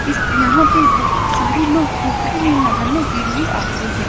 इस यहाँ पे बोहोत सारे लोग पोखरे में नहाने के लिए आते हैं।